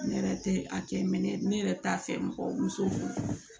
Ne yɛrɛ tɛ a kɛ mɛ ne yɛrɛ t'a fɛ mɔgɔ muso